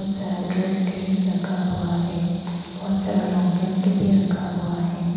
सारा ड्रेस भी रखा हुआ है बहुत सारा लॉन्ग पेंट भी रखा हुआ है।